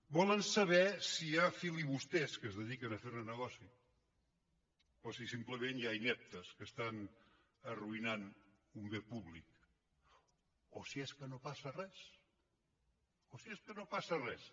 volen saber si hi ha filibusters que es dediquen a fer ne negoci o si simplement hi ha ineptes que estan arruïnant un bé públic o si és que no passa res o si és que no passa res